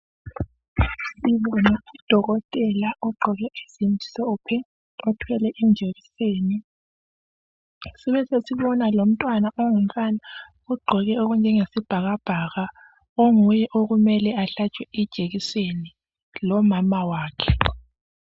Sibona udokotela ogqoke ezimhlophe othwele ijekiseni besesibona lomntwana ongumfana ogqoke okunjengesibhakabhaka onguye okumele ahlatshwe ijekiseni lomama wakhe.